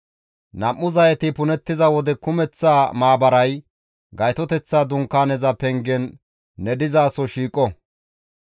Nam7u zayeti punettiza wode kumeththa maabaray Gaytoteththa Dunkaaneza pengen ne dizaso shiiqo.